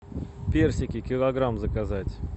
персики килограмм заказать